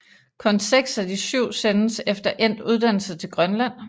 Kun seks af de syv sendes efter endt uddannelse til Grønland